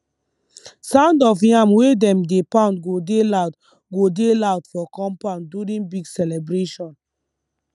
sound of yam wey dem dey pound go dey loud go dey loud for compound during big celebration